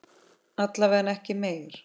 Alla vega ekki meir.